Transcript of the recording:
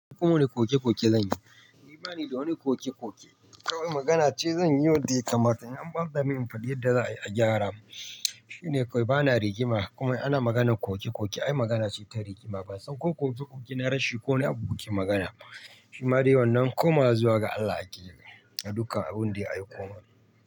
Kuma wani koke koke zanyi, ni bani da wani koke koke, kawai magana ce zan yi wadda ya kamata in an bata min in faɗi yadda za'ayi a gyara. Shine kawai ba na rigima kuma ana maganan koke koke ai magana ce ta rigima ban san ko koke koke na rashi ko na wani abu kuke magana ba. Shi ma dai wannan koma zuwa ga Allah ake yi dukan abun da ya aiko mana.